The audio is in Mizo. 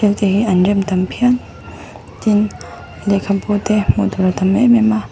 te hi an rem tam phian tin lehkhabu te hmuhtur a tam em em a.